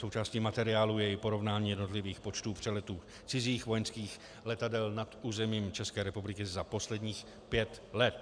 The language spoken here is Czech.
Součástí materiálu je i porovnání jednotlivých počtů přeletů cizích vojenských letadel nad územím České republiky za posledních pět let.